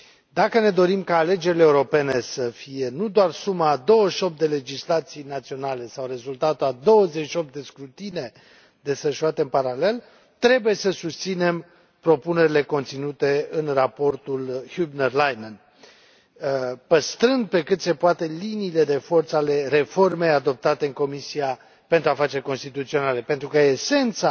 Dacă ne dorim ca alegerile europene să fie nu doar suma a 28 de legislații naționale sau un rezultat al 28 de scrutine desfășurate în paralel, trebuie să susținem propunerile conținute în raportul Hübner Leinen, păstrând pe cât se poate liniile de forță ale reformei adoptate în Comisia pentru afaceri constituționale, pentru că esența